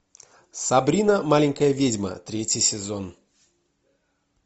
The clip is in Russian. сабрина маленькая ведьма третий сезон